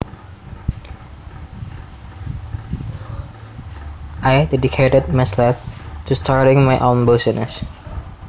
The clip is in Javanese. I dedicated myself to starting my own business